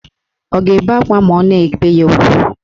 Ọ ga-ebe akwa ma a na-ebe ya ugwu?